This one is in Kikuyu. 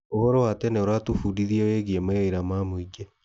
ũhoro wa tene ũratũbundithia wĩgiĩ mawĩra ma mũingĩ.